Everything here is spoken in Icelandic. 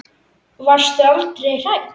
Varstu aldrei hrædd?